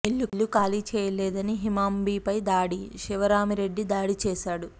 ఇల్లు ఖాళీ చేయలేదని హిమామ్ బి పై దాడి శివరామిరెడ్డి దాడి చేశాడు